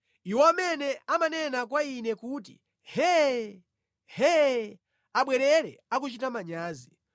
Iwo amene amanena kwa ine kuti, “Hee! Hee!” abwerere akuchita manyazi.